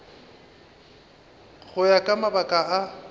go ya ka mabaka a